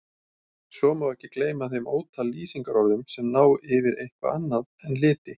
Svo má ekki gleyma þeim ótal lýsingarorðum sem ná yfir eitthvað annað en liti.